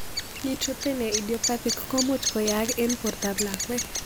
Neutropenia idiopathic ko muvch koyaak eng' porta ab lakwet